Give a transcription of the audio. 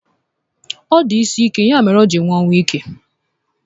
Ọ dị isi ike ya mere o jiri nwụọ ọnwụ íke